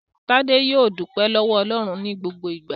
Tádé yóò dúpẹ́ lọ́wọ́ Ọlọ́run ní gbogbo ìgbà.